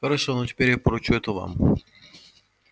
хорошо но теперь я поручу это вам